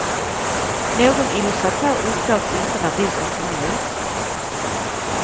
Någon illustratör uppgavs inte när boken kom ut.